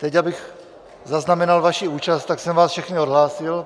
Teď abych zaznamenal vaši účast, tak jsem vás všechny odhlásil.